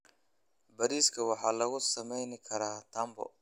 Bariiska waxaa lagu sameyn karaa tambo.